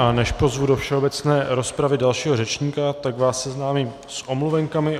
A než pozvu do všeobecné rozpravy dalšího řečníka, tak vás seznámím s omluvenkami.